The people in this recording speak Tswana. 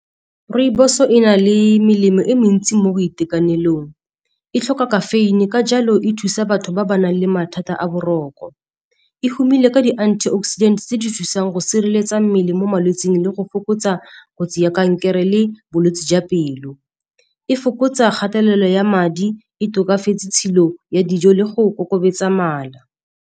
Rooibos e na le melemo e mentsi mo boitekanelong, e tlhoka caffeine-e ka jalo e thusa batho ba ba nang le mathata a boroko. E humile ka di-antioxidant tse di thusang go sireletsa mmele mo malwetseng le go fokotsa kotsi ya kankere le bolwetse jwa pelo. E fokotsa kgatelelo ya madi, e tokafetse tshilo ya dijo le go kokobatsa mala.